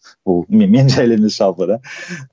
бұл мен жайлы емес жалпы да